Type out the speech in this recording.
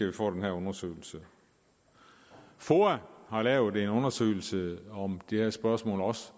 vi får den her undersøgelse foa har lavet en undersøgelse om det her spørgsmål også